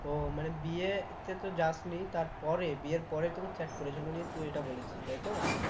ও মানে বিয়েতে তো যাসনি তারপরে বিয়ের পরে তোকে chat করেছিল নিয়ে তুই এটা বলেছিলি তাই তো?